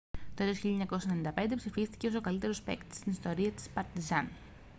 το έτος 1995 ψηφίστηκε ως ο καλύτερος παίκτης στην ιστορία της παρτιζάν